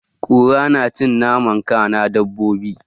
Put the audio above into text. Kura na cin naman kanan dabobi